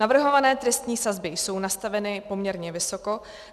Navrhované trestní sazby jsou nastaveny poměrně vysoko.